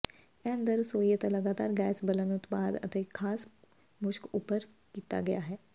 ਇਹ ਅੰਦਰ ਰਸੋਈ ਅਤੇ ਲਗਾਤਾਰ ਗੈਸ ਬਲਨ ਉਤਪਾਦ ਅਤੇ ਖਾਸ ਮੁਸ਼ਕ ਉੱਭਰ ਕੀਤਾ ਗਿਆ ਹੈ